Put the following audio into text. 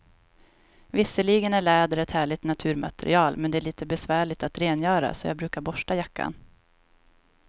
Visserligen är läder ett härligt naturmaterial, men det är lite besvärligt att rengöra, så jag brukar borsta jackan.